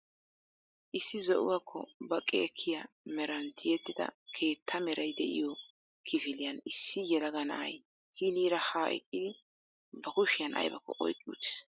Issi zo'uwakko baqqi ekkiya meran tiyyettida keettaa meray de'iyoo kifiliyan issi yelaga na'ay hiniira ha eqqidi ba kushiyaan aybbakko oyqqi uttiis.